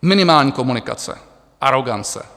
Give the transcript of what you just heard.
Minimální komunikace, arogance.